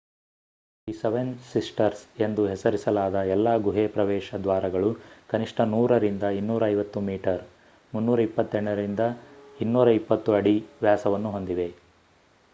"the seven sisters ಎಂದು ಹೆಸರಿಸಲಾದ ಎಲ್ಲಾ ಗುಹೆ ಪ್ರವೇಶ ದ್ವಾರಗಳು ಕನಿಷ್ಠ 100 ರಿಂದ 250 ಮೀಟರ್ 328 ರಿಂದ 820 ಅಡಿ ವ್ಯಾಸವನ್ನು ಹೊಂದಿವೆ